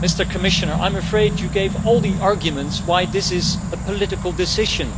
Commissioner, I am afraid you have just given all the arguments why this is a political decision.